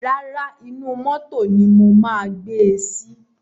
Rárá, inú mótò ni mo máa gbe sí.